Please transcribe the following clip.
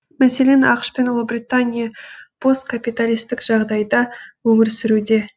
мәселен ақш пен ұлыбритания посткапиталистік жағдайда өмір сүруде